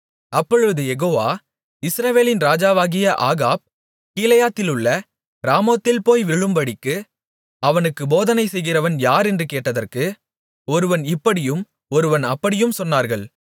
அப்பொழுது யெகோவா இஸ்ரவேலின் ராஜாவாகிய ஆகாப் கீலேயாத்திலுள்ள ராமோத்தில் போய் விழும்படிக்கு அவனுக்கு போதனைசெய்கிறவன் யார் என்று கேட்டதற்கு ஒருவன் இப்படியும் ஒருவன் அப்படியும் சொன்னார்கள்